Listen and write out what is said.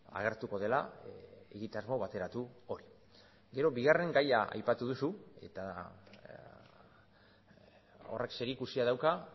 agertuko dela egitasmo bateratu hori gero bigarren gaia aipatu duzu eta horrek zerikusia dauka